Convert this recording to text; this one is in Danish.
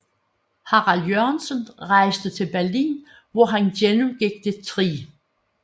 Harald Jørgensen rejste til Berlin hvor han gennemgik det 3